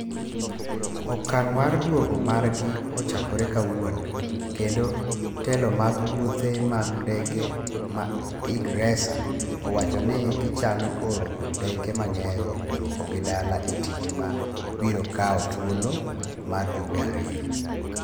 Okang' mar duogo margi ochakore kawuono kendo telo mag wuothe mag ndege ma ingresa, owacho ni gichano oro ndeke mang'eny duoko gi dala e tich ma biro kawo thuolo mar jumbe ariyo.